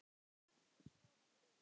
Og svo var hlegið.